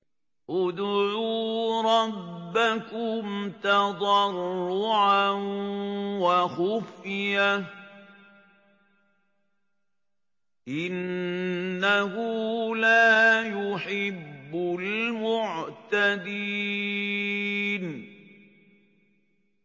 ادْعُوا رَبَّكُمْ تَضَرُّعًا وَخُفْيَةً ۚ إِنَّهُ لَا يُحِبُّ الْمُعْتَدِينَ